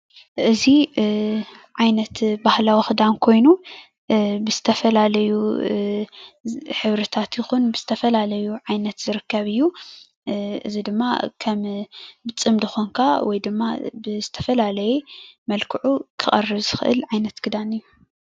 እዚ ዓይነት ባህላዊ ኽዳን ኮይኑ ብዝተፈላለዩ ሕብርታት ይኹን ብዝተፈላለዩ ዓይነት ዝርከብ እዩ፡፡ እዚ ድማ ከም ብፅምዲ ኮይንካ ወይ ድማ ብዝተፈላለየ መልክዑ ከቅርብ ዝክእል ዓይነት ክዳን እዩ፡፡